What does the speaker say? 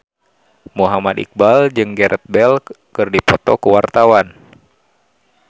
Muhammad Iqbal jeung Gareth Bale keur dipoto ku wartawan